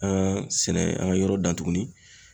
An ka sɛnɛ an ka yɔrɔ dan tuguni